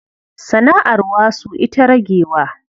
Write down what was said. Sana'ar wasu ita ragewa.